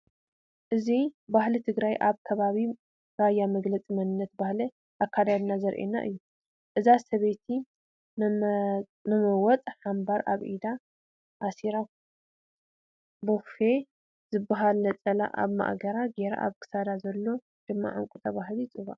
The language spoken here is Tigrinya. እዚ ባህሊ ትግራይ ኣብ ከባቢ ራያ መግለፂ መንነት ባህሊ ኣከዳድና ዘርእየና እዩ ።እዛ ሰበይቲ መመወፅ፣ ሓምባር ኣብ ኢዳ ኣሲራ ፣ቦፌ ዝበሃል ነፀላ ኣብ ማእገራ ገራ ኣብ ክሳዳ ዘሎ ድማ ዕንቂ ተባሂሉ ይፅዋዕ ።